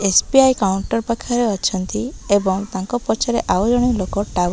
SBI counter ପାଖରେ ଅଛନ୍ତି ଏବଂ ତାଙ୍କ ପଛରେ ଆଉ ଜଣେ ଲୋକ ଟାୱା --